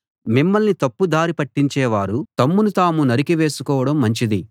మిమ్మల్ని తప్పు దారి పట్టించే వారు తమ్మును తాము నరికి వేసికోవడం మంచిది